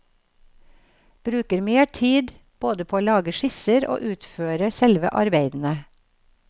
Bruker mer tid både på å lage skisser og utføre selve arbeidene.